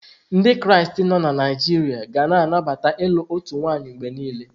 Ndị Kraịst nọ na Naijiria ga na anabata ilu otu nwanyị mgbe niile.